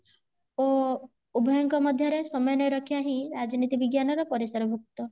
ଓ ଉଭୟ ଙ୍କ ମଧ୍ୟରେ ସମନ୍ଵୟ ରକ୍ଷା ହିଁ ରାଜନୀତି ବି8ଜ୍ଞାନ ର ପରିସରଭୁକ୍ତ